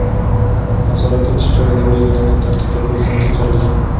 nazorat o‘tish joyida belgilangan tartibda ko‘zdan kechirilgan.